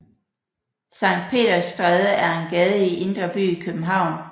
Sankt Peders Stræde er en gade i Indre By i København